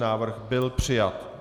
Návrh byl přijat.